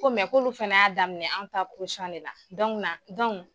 Ko mɛ k'olu fana y'a daminɛ an ta de la, dɔnuna dɔnku.